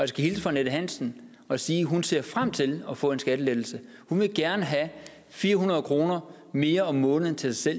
skal hilse fra annette hansen og sige at hun ser frem til at få en skattelettelse hun vil gerne have fire hundrede kroner mere om måneden til sig